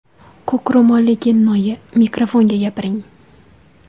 Ko‘k ro‘molli kennoyi, mikrofonga gapiring.